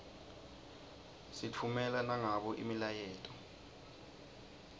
sitffumela nangabo imiyaleto